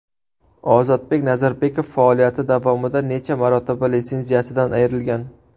Ozodbek Nazarbekov faoliyati davomida necha marotaba litsenziyasidan ayrilgan?